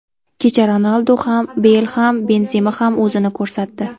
Kecha Ronaldu ham, Beyl ham, Benzema ham o‘zini ko‘rsatdi.